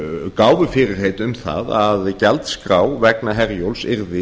gáfu fyrirheit um það að gjaldskrá vegna herjólfs yrði